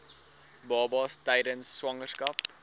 babas tydens swangerskap